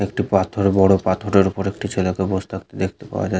একটি পাথর বড় পাথরের ওপর একটি ছেলেকে বস থাকতে দেখতে পাওয়া যা--